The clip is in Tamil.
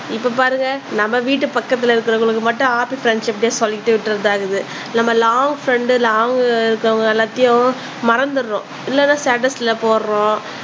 இப்ப பாருங்க நம்ம வீட்டு பக்கத்துல இருக்கிறவங்களுக்கு மட்டும் ஹாப்பி ஃப்ரண்ட்ஷிப் டே சொல்லிட்டு விட்டுர்றது ஆகுது நம்ம லாங் ஃப்ரெண்ட் லாங் ல இருக்குறவங்க எல்லாத்தையும் எல்லாத்தையும் மறந்திடுறோம் இல்லனா ஸ்டேட்டஸ்ல போடுறோம்